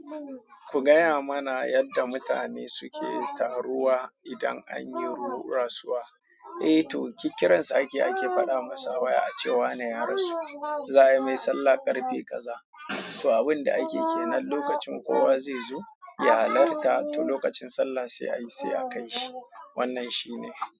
Ku gaya mana yadda mutane suke taruwa idan anyi ru rasuwa? Eh to kikiran sa ake ake faɗa masa waya ace wa na ya rasu. Za a yi mai sallah ƙarfe kaza. To abin da ake ke nan lokacin kowa zai zo ya halarta to lokacin sallah sai ayi sai a kai shi. Wannan shi ne.